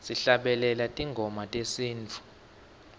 sihlabelela tingoma tesintfu